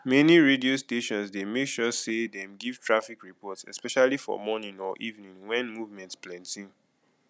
many radio stations dey make sure sey dem give traffic report especially for morning or evening when movement plenty